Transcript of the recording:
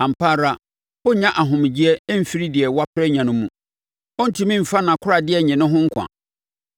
“Ampa ara ɔrennya ahomegyeɛ mfiri deɛ wapere anya no mu; ɔrentumi mfa nʼakoradeɛ nnye ne ho nkwa.